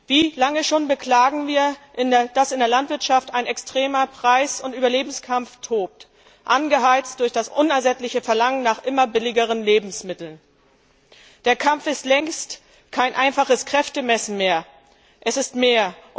Wie lange schon beklagen wir, dass in der Landwirtschaft ein extremer Preis und Überlebenskampf tobt, angeheizt durch das unersättliche Verlangen nach immer billigeren Lebensmitteln. Dieser Kampf ist längst kein einfaches Kräftemessen mehr, sondern es ist mehr.